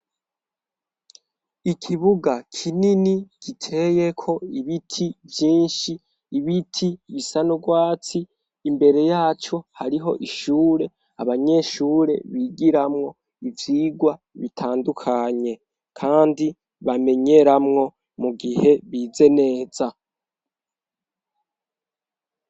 Ikibuga kinini giteyeko ibiti vyinshi, ibiti ibisa n'urwatsi, imbere yaco hariho ishure abanyeshure bigiramwo ivyigwa bitandukanye. Kandi bamenyeramwo mu gihe bize neza.